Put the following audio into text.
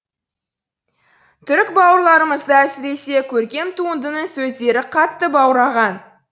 түрік бауырларымызды әсіресе көркем туындының сөздері қатты баураған